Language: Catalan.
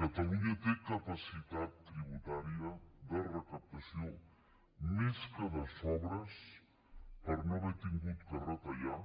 catalunya té capacitat tributària de recaptació més que de sobres per no haver hagut de retallar